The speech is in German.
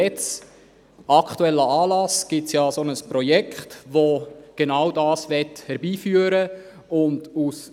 Aktuell gibt es ja ein Projekt, welches genau das herbeiführen möchte.